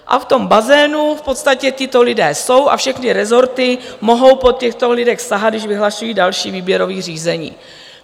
A v tom bazénu v podstatě tito lidé jsou a všechny rezorty mohou po těchto lidech sahat, když vyhlašují další výběrové řízení.